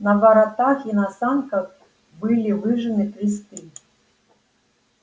на воротах и на санках были выжжены кресты